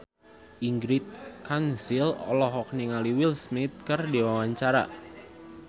Ingrid Kansil olohok ningali Will Smith keur diwawancara